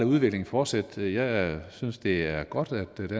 udviklingen fortsætte jeg synes at det er godt